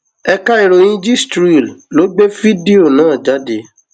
ẹka ìròyìn gistréel ló gbé fídíò náà jáde